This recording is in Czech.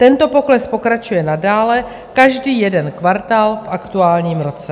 Tento pokles pokračuje nadále každý jeden kvartál v aktuálním roce.